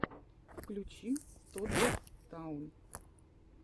включи тоддлер таун